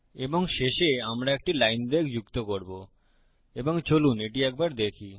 এবং শেষে আমরা একটি লাইন ব্রেক যুক্ত করবো এবং চলুন এটি একবার দেখি